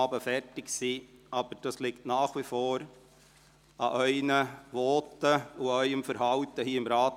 Ob wir zügiger oder weniger zügig vorankommen, liegt nach wie vor an Ihren Voten und Ihrem Verhalten hier im Rat.